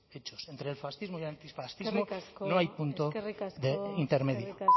hechos entre el fascismo y el antifascismo eskerrik asko no hay punto de intermedio eskerrik asko eskerrik